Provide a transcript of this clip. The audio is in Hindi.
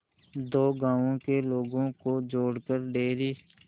दो गांवों के लोगों को जोड़कर डेयरी